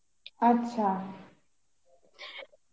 আচ্ছা